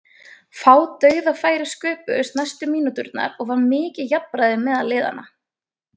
Fá dauðafæri sköpuðust næstu mínúturnar og var mikið jafnræði meðal liðanna.